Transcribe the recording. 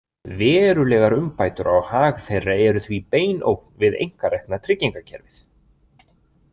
Verulegar umbætur á hag þeirra eru því bein ógn við einkarekna tryggingakerfið.